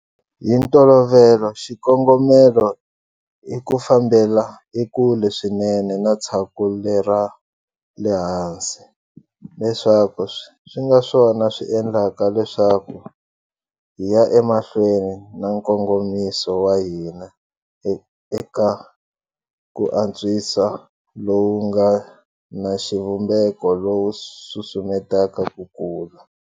Hi ntolovelo, xikongomelo i ku fambela ekule swinene na tshaku lera le hansi, leswaku swi nga swona swi endlaka leswaku hi ya emahlweni na nkongomiso wa hina eka ku antswiso lowu nga na xivumbeko lowu wu susumetaka ku kula.